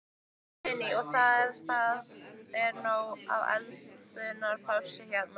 Guðný: Og það er, það er nóg af eldunarplássi hérna?